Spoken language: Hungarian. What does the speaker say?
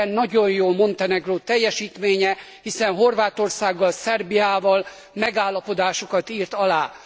E téren nagyon jó Montenegró teljesítménye, hiszen Horvátországgal, Szerbiával megállapodásokat írt alá.